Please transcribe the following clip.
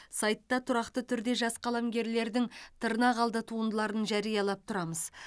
сайтта тұрақты түрде жас қаламгерлердің тырнақалды туындыларын жариялап тұрамыз